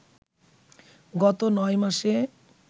গত ৯ মাসে